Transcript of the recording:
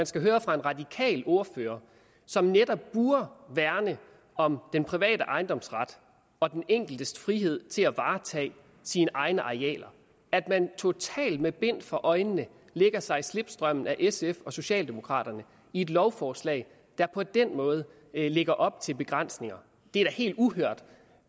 skal høre fra en radikal ordfører som netop burde værne om den private ejendomsret og den enkeltes frihed til at varetage sine egne arealer at man totalt med bind for øjnene lægger sig i slipstrømmen af sf og socialdemokraterne i et lovforslag der på den måde lægger op til begrænsninger det er da helt uhørt